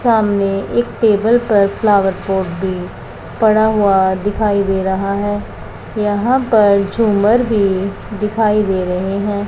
सामने एक टेबल पर फ्लावर पॉट भी पड़ा हुआ दिखाई दे रहा हैं यहां पर झूमर भी दिखाई दे रहें हैं।